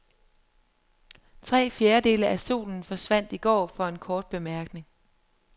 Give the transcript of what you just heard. Tre fjerdedele af solen forsvandt i går for en kort bemærkning.